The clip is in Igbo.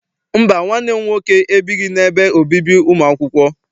Mba, nwanne m nwoke ebighị n'ebe obibi ụmụ akwụkwọ.